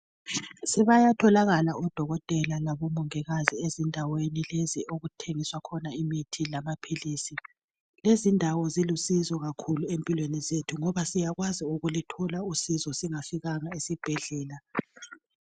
Sebetholakala odokotela labomongikazi ezindaweni lezi okuthengiswa khona imithi lamaphilisi. Lezindawo zilusizo kakhulu ngoba siyakwazi ukuthola uncedo singafikanga esibhedlela.